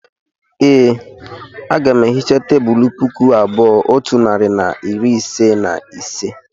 e, Aga m ehicha tebụl puku abụọ otu narị na iri ise na ise